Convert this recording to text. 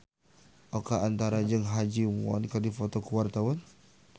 Oka Antara jeung Ha Ji Won keur dipoto ku wartawan